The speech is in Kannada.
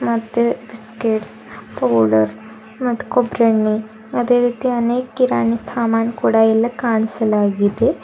ಮತ್ತೆ ಬಿಸ್ಕೆಟ್ಸ್ ಪೌಡರ್ ಮತ್ ಕೊಬರಿ ಎಣ್ಣೆ ಅದೇ ರೀತಿ ಅನೇಕ ಕಿರಾಣಿ ಸಾಮನ್ ಕೂಡ ಎಲ್ಲಾ ಕಾಣಿಸಲಾಗಿದೆ.